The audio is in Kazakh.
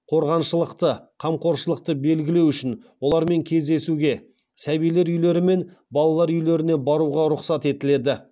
қорғаншылықты қамқоршылықты белгілеу үшін олармен кездесуге сәбилер үйлері мен балалар үйлеріне баруға рұқсат етіледі